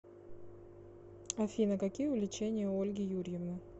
афина какие увлечения у ольги юрьевны